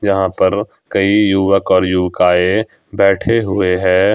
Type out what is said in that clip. यहां पर कई युवक और युवकाएं बैठे हुए हैं।